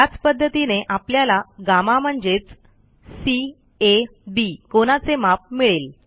त्याच पध्दतीने आपल्याला गम्मा म्हणजेचCAB कोनाचे माप मिळेल